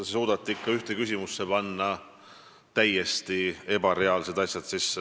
No te suudate ikka panna ühte küsimusse sisse täiesti ebareaalsed asjad.